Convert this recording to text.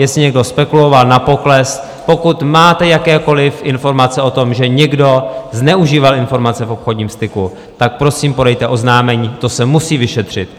Jestli někdo spekuloval na pokles, pokud máte jakékoliv informace o tom, že někdo zneužíval informace v obchodním styku, tak prosím podejte oznámení, to se musí vyšetřit.